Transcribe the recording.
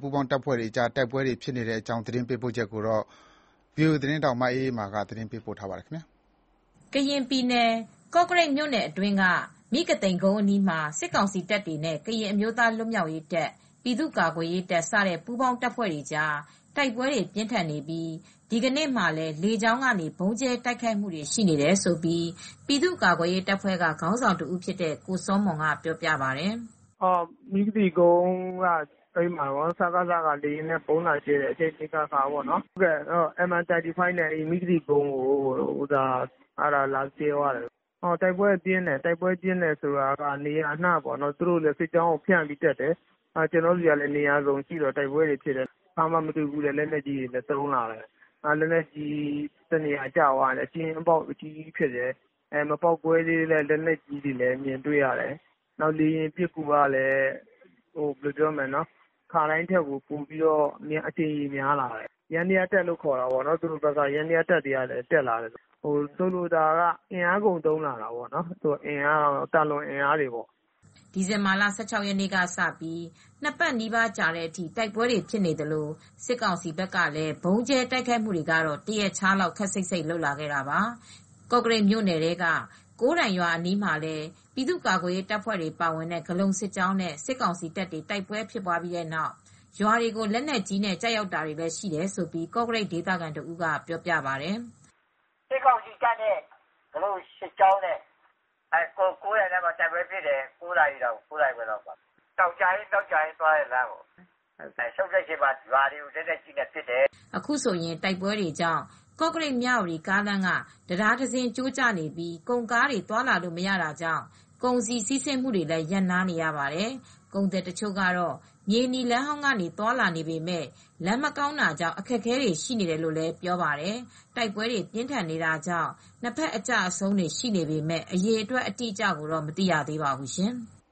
ပူးပေါင်းတပ်ဖွဲ့တွေကြား တိုက်ပွဲပြင်းထန်နေပြီး ဒီဇင်ဘာလ ၂၇ ရက်နေ့မှာလည်း စစ်ကောင်စီဘက်က လေကြောင်းကနေ ဗုံးကြဲတိုက်ခိုက်နေပါတယ်။ ဒီအကြောင်း ဗွီအိုအေသတင်းထောက် မအေးအေးမာက သတင်းပေးပို့ထားပါတယ်။ ကရင်ပြည်နယ် ကော့ကရိတ်မြို့နယ်အတွင်းက မိဂသိမ်ကုန်းအနီးမှာ စစ်ကောင်စီတပ်တွေနဲ့ ကရင်အမျိုးသားလွတ်မြောက်ရေးတပ်၊ ပြည်သူ့ကာကွယ်ရေးတပ် စတဲ့ပူးပေါင်းတပ်ဖွဲ့တွေကြား တိုက်ပွဲတွေပြင်းထန်နေပြီး ဒီကနေ့မှာလည်း လေကြောင်းကနေ ဗုံးကြဲတိုက်ခိုက်နေတယ်လို့ ပြည်သူ့ကာကွယ်ရေးတပ်ဖွဲ့ ခေါင်းဆောင်တဦးဖြစ်တဲ့ ကိုစောမွန်ပြောပြပါတယ်။ “မိဂသိမ်ကုန်းမှာ စကစက လေယာဉ်နဲ့ဗုံးလာကြဲတယ်။ အကြိမ်ကြိမ်အခါခါပဲ။ MI35 နဲ့ လာကြဲတယ်၊ တိုက်ပွဲကလည်းပြင်းတယ်။ နေရာအနှံ့ကို သူတို့ဆီက စစ်ကြောင်းကိုဖြန့်ပြီးတက်တယ်။ ကျနော်တို့ဆီကလည်း နေရာအနှံ့ရှိတော့ တိုက်ပွဲတွေဖြစ်လာတယ်။ တခါမှ မတွေ့ဘူးတဲ့လက်နက်ကြီးတွေ သုံးလာတယ်။ လက်နက်ကြီး တနေရာကိုကျလာတိုင်း ကျင်းပေါက်အကြီးကြီးတွေဖြစ်တယ်။ မပေါက်ကွဲေသေးတဲ့လက်နက်ကြီးတွေမြင်တွေ့ရတယ်။ လေယာဉ်ပစ်ကူတွေကလည်း ခါတိုင်းထက် အကြိမ်ရေများလာတယ်။ ယမ်းနယားတပ်တွေကလည်း တက်လာတယ်။ ဆိုလိုတာကတော့ အင်အားကုန်သုံးလာတယ်။ သာလွန်အင်အားတွေပေါ့။” ဒီဇင်ဘာလ ၁၆ ရက်နေ့ကစပြီး ၂ ပတ်နီးပါးကြာလာတဲ့အထိ တိုက်ပွဲတွေဖြစ်နေသလို စစ်ကောင်စီဘက်ကလည်း တရက်ခြားလောက် ဗုံးကြဲတိုက်ခိုက်တာတွေကိုခပ်စိတ်စိတ်လုပ်ခဲ့တာပါ။ ကောကရိတ်မြို့နယ်ထဲက ကိုးတိုင်ရွာအနီးမှာလည်း ပြည်သူ့ကာကွယ်ရေးတပ်ဖွဲ့တွေပါဝင်တဲ့ ဂဠုန်စစ်ကြောင်းနဲ့ စစ်ကောင်စီတပ်တွေ တိုက်ပွဲဖြစ်ပြီးနောက် ရွာတွေကို လက်နက်ကြီးတွေကျရောက်ခဲ့တယ်လို့လည်း ကော့ကရိတ်ဒေသခံတဦးကပြောပါတယ်။ “စစ်ကောင်စီတပ်တွေနဲ့ ဂဠုန်စစ်ကြောင်းနဲ့ တိုက်ပွဲဖြစ်တယ်။ ကိုးတိုင်ရွာနားမှာဖြစ်တယ်။ တောင်ကြာအင်း၊ မြောက်ကြာအင်း သွားတဲ့လမ်းနေရာမှာပေါ့၊ ဆုတ်တဲ့အချိန်မှာတော့ ရွာတွေကို လက်နက်ကြီးနဲ့ပစ်သွားတယ်။” အခုဆိုရင် တိုက်ပွဲတွေကြောင့် ကော့ကရိတ်-မြဝတီကားလမ်းက တံတားတစင်းကျိုးကျနေပြီး ကုန်ကားတွေသွားလာလို့မရတာကြောင့် ကုန်စည်စီးဆင်းမှုတွေ ရပ်နားနေရပါတယ်၊။ ကုန်သည်တချို့ကတော့ အရင် မြေနီလမ်းဟောင်းကနေသွားလာနေပေမဲ့ လမ်းမကောင်းတာကြောင့် အခက်အခဲတွေရှိနေတယ်လို ပြောပါတယ်။ တိုက်ပွဲတွေပြင်းထန်နေတာကြောင့် နှစ်ဘက်အကျအဆုံးတွေရှိပေမယ့် အရေအတွက်အတိအကျကိုတော့ မသိရသေးပါဘူးရှင်။